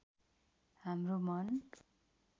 हाम्रो मन